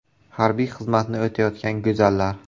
Harbiy xizmatni o‘tayotgan go‘zallar .